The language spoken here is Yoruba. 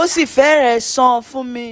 ó sì fẹ́rẹ̀ẹ́ sàn fún mi